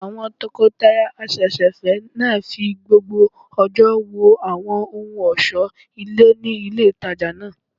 Àwọn tọkọtaya àsẹ̀sẹ̀fẹ́ náà fi gbogbo ọjọ́ wo àwọn ohun ọ̀sọ́ ilé ní ilé ìtajà náà